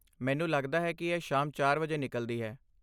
ਮੈਨੂੰ ਲੱਗਦਾ ਹੈ ਕਿ ਇਹ ਸ਼ਾਮ ਚਾਰ ਵਜੇ ਨਿਕਲਦੀ ਹੈ